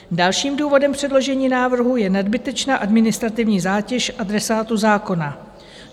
Dalším důvodem předložení návrhu je nadbytečná administrativní zátěž adresátů zákona.